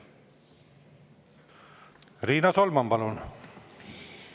Riina Solman, palun!